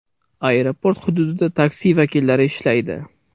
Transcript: Aeroport hududida taksi vakillari ishlaydi.